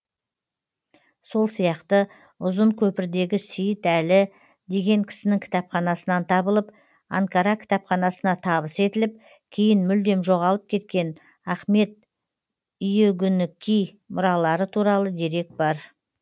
сол сияқты ұзын көпірдегі сейіт әлі деген кісінің кітапханасынан табылып анкара кітапханасына табыс етіліп кейін мүлдем жоғалып кеткен ахмед иүгінеки мұралары туралы дерек бар